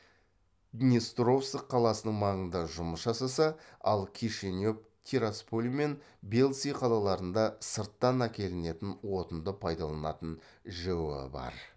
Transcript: днестровск қаласының маңында жұмыс жасаса ал кишинев тирасполь мен бельцы қалаларында сырттан әкелінетін отынды пайдаланатын жэо бар